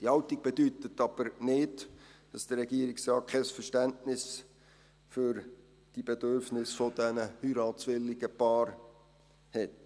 Diese Haltung bedeutet aber nicht, dass der Regierungsrat kein Verständnis für die Bedürfnisse dieser heiratswilligen Paare hat.